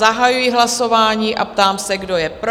Zahajuji hlasování a ptám se, kdo je pro?